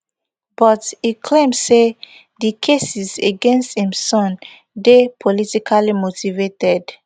but e claim say di cases against im son dey politically motivated